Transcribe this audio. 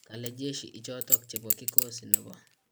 kale jeshi ichotok chebo kikosi nebo